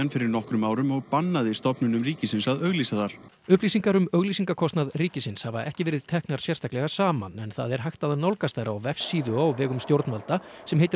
fyrir nokkrum árum og bannaði stofnunum ríkisins að auglýsa þar upplýsingar um auglýsingakostnað ríkisins hafa ekki verið teknar sérstaklega saman en það er hægt að nálgast þær á vefsíðu á vegum stjórnvalda sem heitir